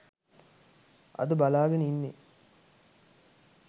අද බලාගෙන ඉන්නේ